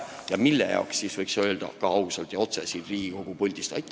Ja ka seda, mille jaoks seda vaja on, võiks ausalt ja otse siit Riigikogu puldist öelda.